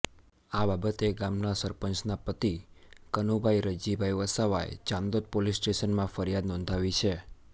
આ બાબતે ગામના સરપંચના પતિ કનુભાઇ રયજીભાઇ વસાવાએ ચાંદોદ પોલીસ સ્ટેશનમાં ફરિયાદ નોંધાવી છે